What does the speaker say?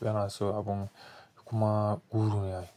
yana so abun kuma guru yayi.